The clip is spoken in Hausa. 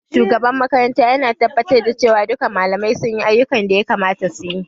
Shugaban makaranta yana tabbatar da cewa duka malamai sunyi ayyukan da ya kamata suyi